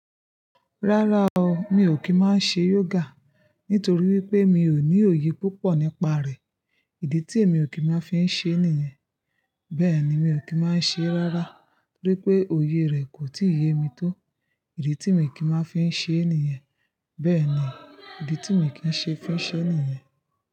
Rárá o, mi ò kí ń má ṣe yoga nítorí wípé mi ò ní òye púpọ̀ nípa rẹ̀, ìdí tí èmi ò kí má fi ń ṣe nìyẹn. Bẹ́ẹ̀ni, mi ò kí má ṣe rárá torí pé òye rẹ̀ kò tíì yé mi tó, ìdí tí mi ò kí máa fi ń ṣe nìyẹn. Bẹ́ẹ̀ ni, ìdí tí mi kì ṣe fúnṣẹ́ nìyẹn.